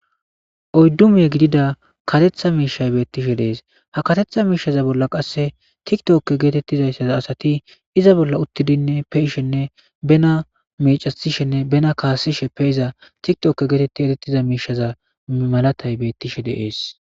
odddumiye gidida katetha miishay beettishe dees ha katetha miishaza bolla qasse tiktokke geetettizayssaza asati iza bolla uttidinne pe ishenne bena mecasishenne bena kaasishe pe iza tiktokke geetetti erettiza miishaza malatay beettishe deees